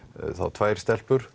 tvær stelpur